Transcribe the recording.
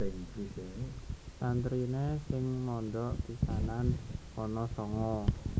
Santriné sing mondhok pisanan ana sanga